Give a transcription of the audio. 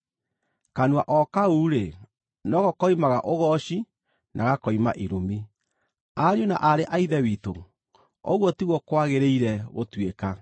Kanua o kau-rĩ, no ko koimaga ũgooci na gakoima irumi. Ariũ na aarĩ a Ithe witũ, ũguo tiguo kwagĩrĩire gũtuĩka.